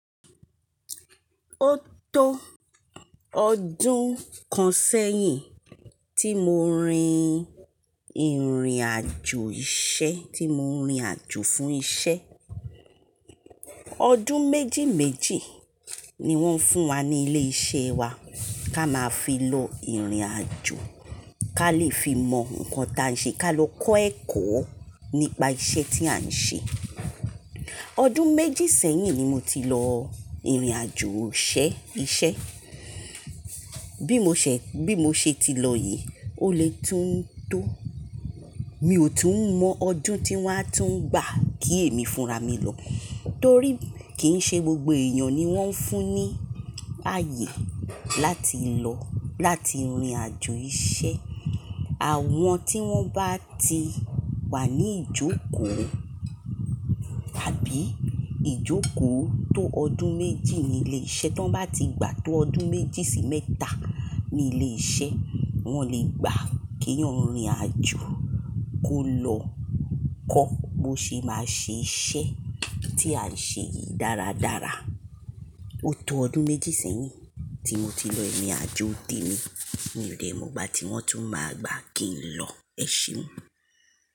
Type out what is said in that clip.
Ó tó ọdún kan sẹ́yìn tí mo rin ìrìnàjò iṣẹ́, tí mo rìn àjò fún iṣẹ́. Ọdún méjì méjì ni wọ́n fún wa ní ilé iṣẹ́ wa kí a máa fi lọ ìrìnàjò, ká lè fi mọ nǹkan tí à ń ṣe, ká lọ kọ́ ẹ̀kọ́ nípa iṣẹ́ tí à ń ṣe. Ọdún méjì sẹ́yìn ni mo ti lọ ìrìnàjò iṣẹ́. Bí mo ṣẹ̀-- bí mo ṣe ti lọ yìí, ó lè tún tó. Mi ò tún mọ ọdún tí wọ́n á tún gbà kí èmi fúnra mi lọ, torí kì í ṣe gbogbo èèyàn ni wọ́n ń fún ní ààyè láti lọ, láti rìn àjò iṣẹ́. Àwọn tí wọ́n bá ti wà ní ìjókòó tàbí ìjókòó tó ọdún méjì ní ilé iṣẹ́, tí wọ́n bá ti gbà tó ọdún méjì sí mẹ́ta ní ilé iṣẹ́, wọ́n lè gbà kí eeyan rìn àjò kó lọ kọ́ bó ṣe máa ṣe iṣẹ́ tí à ń ṣe yìí dáradára. Ó tó ọdún méjì sẹ́yìn tí mo ti lọ ìrìnàjò temi, mi ò lè mọ ìgbà tí wọ́n tún máa gbà kí n lọ, ẹ ṣé.